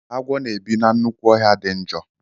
Agwọ na-ebi na nnukwu ọhịa dị njọ.